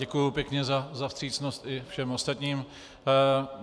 Děkuji pěkně za vstřícnost i všem ostatním.